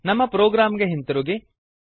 ನಮ್ಮ ಪ್ರೊಗ್ರಾಮ್ ಗೆ ಹಿಂದಿರುಗಿ